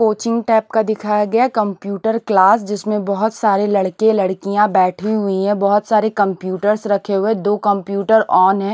Coaching type का दिखाया गया कंप्यूटर क्लास जिसमें बहुत सारे लड़के लड़कियां बैठी हुई है बहुत सारे कंप्यूटर्स रखे हुए दो कंप्यूटर ऑन है।